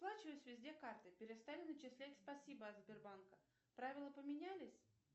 расплачиваюсь везде картой перестали начислять спасибо от сбербанка правила поменялись